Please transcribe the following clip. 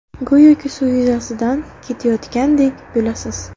Go‘yoki suv yuzasidan ketayotgandek bo‘lasiz.